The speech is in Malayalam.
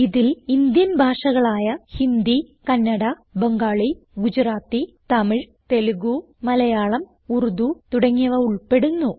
ഇതിൽ ഇന്ത്യൻ ഭാഷകളായ ഹിന്ദി കന്നഡ ബംഗാളി ഗുജറാത്തി തമിഴ് തെലുഗ് മലയാളം ഉർദു തുടങ്ങിയവ ഉൾപ്പെടുന്നു